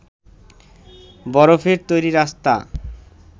বরফের তৈরি রাস্তা